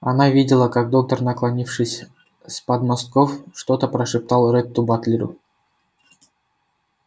она видела как доктор наклонившись с подмостков что-то прошептал ретту батлеру